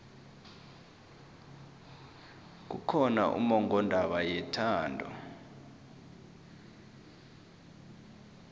kukhona ummongondaba yethando